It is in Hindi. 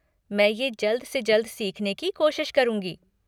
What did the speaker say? मैं ये जल्द से जल्द सीखने कि कोशिश करूँगी।